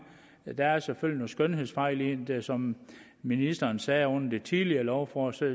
der er selvfølgelig nogle skønhedsfejl i den som ministeren sagde under det tidligere lovforslag